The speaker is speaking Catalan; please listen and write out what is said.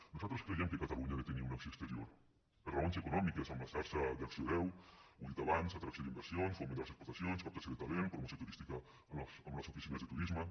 nosaltres creiem que catalunya ha de tenir una acció exterior per raons econòmiques amb la xarxa d’acció deu ho he dit abans atracció d’inversions foment de les exportacions captació de talent promoció turística amb les oficines de turisme